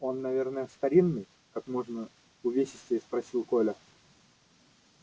он наверно старинный как можно увесистее спросил коля